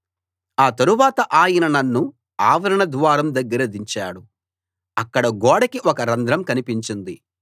ఆ తరువాత ఆయన నన్ను ఆవరణ ద్వారం దగ్గర దించాడు అక్కడ గోడకి ఒక రంధ్రం కనిపించింది